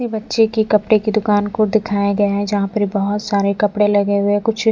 ये बच्चे के कपड़े की दुकान को दिखाए गए हैं जहाँ पर बहुत सारे कपड़े लगे हुए हैं कुछ--